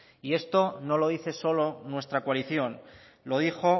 y esto no lo dice solo nuestra coalición lo dijo